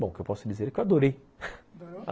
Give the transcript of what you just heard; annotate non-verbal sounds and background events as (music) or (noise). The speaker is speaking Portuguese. Bom, o que eu posso dizer é que eu adorei (laughs)